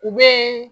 U bɛ